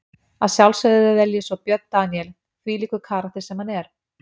Að sjálfsögðu vel ég svo Björn Daníel, þvílíkur karakter sem hann er.